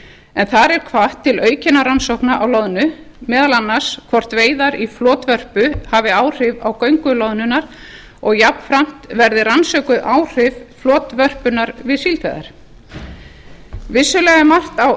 en þar er hvatt til aukinnar rannsókna á loðnu meðal annars hvort veiðar í flotvörpu hafi áhrif á göngu loðnunnar og jafnframt verði rannsökuð áhrif flotvörpunnar við síldveiðar vissulega er margt á